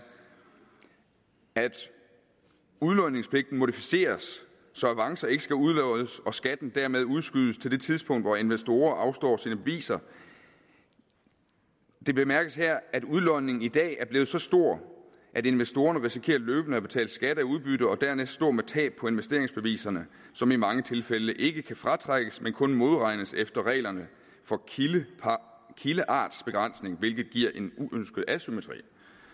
at udlodningspligten modificeres så avancer ikke skal udloddes og skatten dermed udskydes til det tidspunkt hvor investorer afstår sine beviser det bemærkes her at udlodningen i dag er blevet så stor at investorerne risikerer løbende at betale skatter af udbytte og dermed stå med tab på investeringsbeviserne som i mange tilfælde ikke kan fratrækkes men kun modregnes efter reglerne for kildeartsbegrænsning hvilket giver en uønsket asymmetri